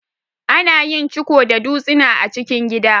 Ana yin ciko da dutsina a cikin gida.